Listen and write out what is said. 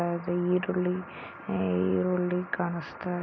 ಈರುಳ್ಳಿ ಈರುಳ್ಳಿ ಕಾಣಿಸುತ್ತಾ --